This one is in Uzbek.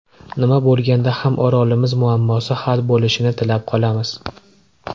Nima bo‘lganda ham Orolimiz muammosi hal bo‘lishini tilab qolamiz.